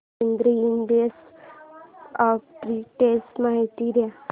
Aditri Industries arbitrage माहिती दे